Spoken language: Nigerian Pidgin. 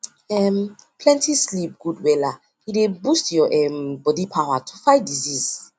for spiritual people talk spiritual people talk with family dey help but prayer and medicine still follow